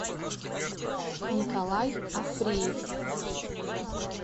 николай африев